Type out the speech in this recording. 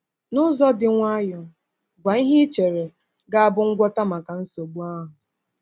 N’ụzọ dị nwayọọ, gwa ihe i chere ga-abụ ngwọta maka nsogbu ahụ.